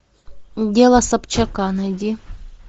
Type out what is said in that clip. дело собчака найди